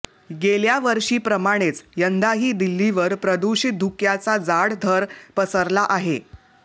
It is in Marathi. गेल्या वर्षीप्रमाणेच यंदाही दिल्लीवर प्रदूषित धुक्याचा जाड थर पसरला आहे